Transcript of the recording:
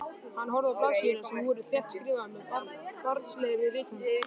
Hann horfði á blaðsíðurnar sem voru þéttskrifaðar með barnslegri rithönd.